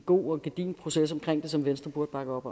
god og gedigen proces omkring det som venstre burde bakke op